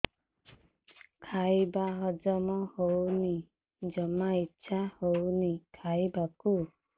ଖାଇବା ହଜମ ହଉନି ଜମା ଇଛା ହଉନି ଖାଇବାକୁ